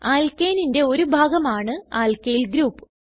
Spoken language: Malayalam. Alkaneന്റെ ഒരു ഭാഗം ആണ് ആൽക്കിൽ ഗ്രൂപ്പ്